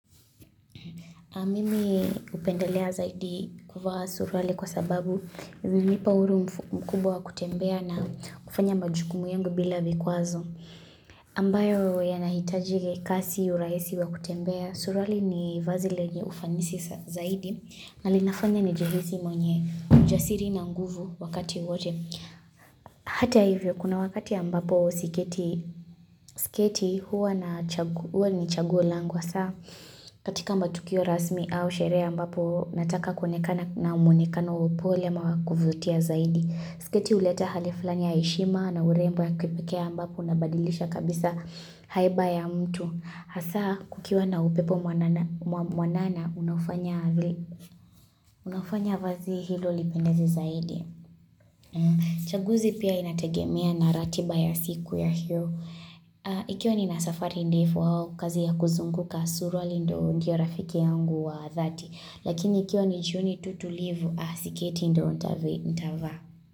Mimi hupendelea zaidi kuvaa suruali kwa sababu inanipa uhuru mkubwa wa kutembea na kufanya majukumu yangu bila vikwazo. Ambayo yanahitaji kasi huraisi wa kutembea surali ni vazi lenye ufanisi zaidi na linafanya nijihisi mwenye ujasiri na nguvu wakati wote. Hata hivyo kuna wakati ya ambapo siketi huwa ni chaguo langu hasa katika matukio rasmi au sherehe ambapo nataka kuonekana na muonekano wa upole ama wa kuvutia zaidi. Sketi huleta hali fulani ya heshima na urembo ya kipekee ambapo nabadilisha kabisa haiba ya mtu. Hasa kukiwa na upepo mwanana unaofanya vazi hilo lipendezi zaidi. Chaguzi pia inategemea na ratiba ya siku ya hiyo na ikiwa nina safari ndefu au kazi ya kuzunguka suruali ndo rafike yangu wa dhati lakini ikiwa ni jioni tu tulivu sketi ndo nitavaa.